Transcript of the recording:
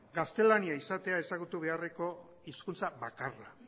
gaztelania izatea ezagutu beharreko hizkuntza bakarra